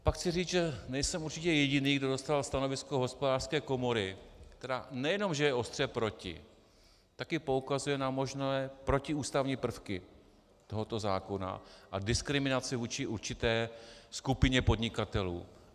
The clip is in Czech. Pak chci říct, že nejsem určitě jediný, kdo zastával stanovisko Hospodářské komory, která nejenom že je ostře proti, taky poukazuje na možné protiústavní prvky tohoto zákona a diskriminaci vůči určité skupině podnikatelů.